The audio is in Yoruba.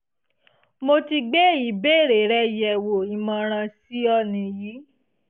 mo ti gbé ìbéèrè rẹ yẹ̀wò ìmọ̀ràn sí ọ nìyí